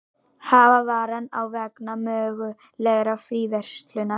Hafa varann á vegna mögulegrar fríverslunar